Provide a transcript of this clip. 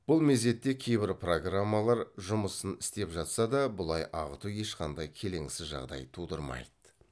бұл мезетте кейбір программалар жұмысын істеп жатса да бұлай ағыту ешқандай келеңсіз жағдай тудырмайды